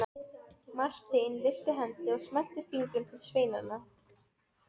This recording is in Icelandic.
Marteinn lyfti hendi og smellti fingrum til sveinanna.